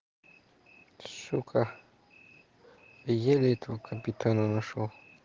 ска еле этому капитана нашёл